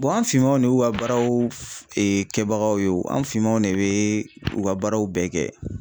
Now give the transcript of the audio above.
an finmanw de y'u ka baaraw kɛbagaw ye o an finmanw de be u ka baaraw bɛɛ kɛ.